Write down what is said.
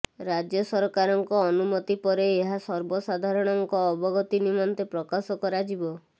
ରାଜ୍ୟ ସରକାରଙ୍କ ଅନୁମତି ପରେ ଏହା ସର୍ବସାଧାରଣଙ୍କ ଅବଗତି ନିମନ୍ତେ ପ୍ରକାଶ କରାଯିବ